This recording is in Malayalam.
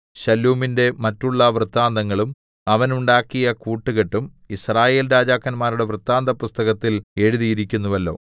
ശല്ലൂമിന്റെ മറ്റുള്ള വൃത്താന്തങ്ങളും അവൻ ഉണ്ടാക്കിയ കൂട്ടുകെട്ടും യിസ്രായേൽ രാജാക്കന്മാരുടെ വൃത്താന്തപുസ്തകത്തിൽ എഴുതിയിരിക്കുന്നുവല്ലോ